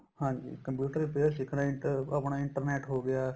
ਹਾਂਜੀ computer repair ਸਿੱਖਣਾ ਇੱਕ ਆਪਣਾ internet ਹੋ ਗਿਆ